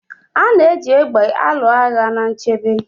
A na-eji égbè alụ agha na nchebe.